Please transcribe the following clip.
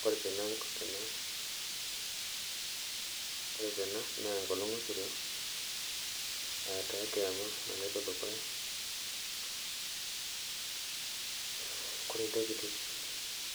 Kore tena naa enkolong sirua aa taa enkolong sirua naloto dukuya, kore ntokitin